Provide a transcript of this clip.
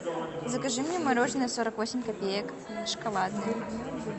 закажи мне мороженое сорок восемь копеек шоколадное